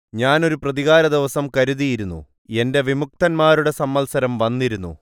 ഞാൻ ഒരു പ്രതികാരദിവസം കരുതിയിരുന്നു എന്റെ വിമുക്തന്മാരുടെ സംവത്സരം വന്നിരുന്നു